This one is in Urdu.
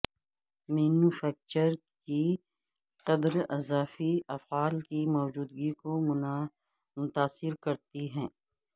مینوفیکچرر کی قدر اضافی افعال کی موجودگی کو متاثر کرتی ہے